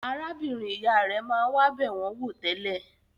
Arábìnrin-ìyá rẹ̀ máa ń wá bẹ̀ wọ́n wò tẹ́lẹ̀.